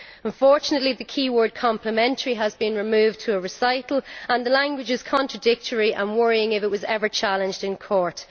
Unfortunately the key word complementary' has been removed to a recital, and the language is contradictory and would be worrying if it were ever challenged in court.